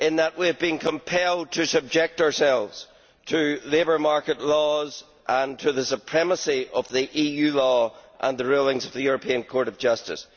We are being compelled to subject ourselves to labour market laws and to the supremacy of EU law and the rulings of the European Court of Justice.